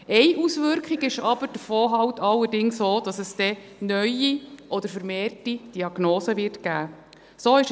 Eine Auswirkung davon ist allerdings aber auch, dass es neue oder vermehrte Diagnosen geben wird.